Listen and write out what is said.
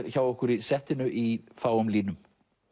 hjá okkur í settinu í fáum línum